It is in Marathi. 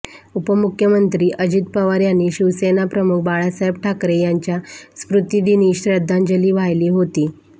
उपमुख्यमंत्री अजित पवार यांनी शिवसेनाप्रमुख बाळासाहेब ठाकरे यांच्या स्मृतीदिनी श्रद्धांजली वाहिली होती